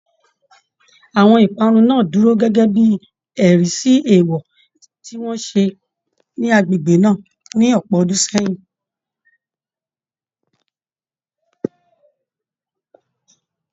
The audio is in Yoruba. Àwọn ìparun náà dúró gẹ́gẹ́ bí ẹ̀rí sí èèwọ̀ tí wọ́n ṣe ní agbègbè náà ní ọ̀pọ̀ ọdún sẹ́yìn